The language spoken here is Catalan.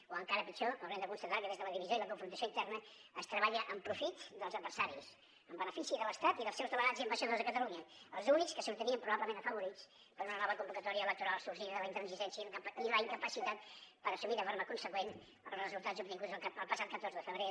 o encara pitjor haurem de constatar que des de la divisió i la confrontació interna es treballa en profit dels adversaris en benefici de l’estat i dels seus delegats i ambaixadors a catalunya els únics que sortirien probablement afavorits per una nova convocatòria electoral sorgida de la intransigència i la incapacitat per assumir de forma conseqüent els resultats obtinguts el passat catorze de febrer